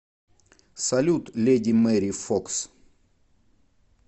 салют леди мэри фокс